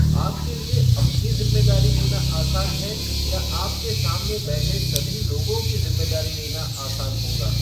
आपके लिए अपनी ज़िम्मेदारी लेना आसान है या आपके सामने बैठे सभी लोगों की ज़िम्मेदारी लेना आसान होगा?